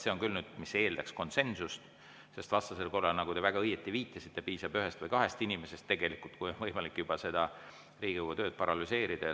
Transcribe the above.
See on küll nüüd see koht, mis eeldaks konsensust, sest vastasel korral, nagu te väga õieti viitasite, piisab tegelikult ühest või kahest inimesest ja on võimalik juba Riigikogu töö paralüseerida.